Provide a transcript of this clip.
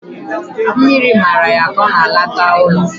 Mmiri mara ya ka o na-alata ulo